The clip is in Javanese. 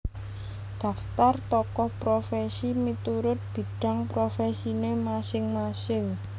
Daftar Tokoh Profesi miturut bidang profesine masing masing